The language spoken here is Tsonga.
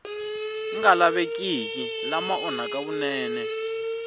nga lavekeki lama onhaka vunene